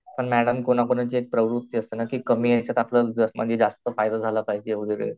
पण मॅडम कोणाकोणाची प्रवृत्ती असते ना की कमी याच्यात आपला जास्त फायदा झाला पाहिजे वैगेरे